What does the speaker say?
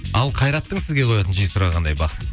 ал қайраттың сізге қоятын жиі сұрағы қандай бақыт